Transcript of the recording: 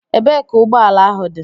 Ebee ka ụgbọ ala ahụ dị?